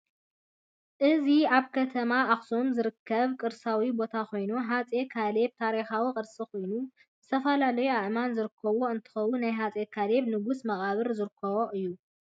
እዚ ኣብ ከተማ ኣክሱም ዝርከብ ቅርሳዊ ቦታ ኮይኑ ኣፄ ካልብ ታሪካዊ ቅርሲ ኮይኑ ዝትፈላላዩ ኣእማኒ ዝርከብሉ እንትከውን ናይ ኣፄካልብ ንጉስ መቀብር ዝርከቦ እዩ።